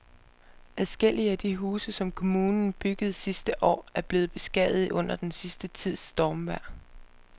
Adskillige af de huse, som kommunen byggede sidste år, er blevet beskadiget under den sidste tids stormvejr.